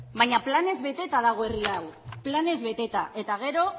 baina planez beteta dago herri hau planez beteta eta gero